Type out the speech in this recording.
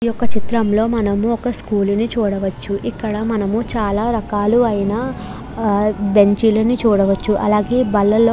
ఈ చిత్రంలో మనము ఒక స్కూల్ ని చూడవచ్చు. ఇక్కడ మనము చాలా రకాలయిన బెంచీలు చూడవచ్చు. అలాగే బల్లాల --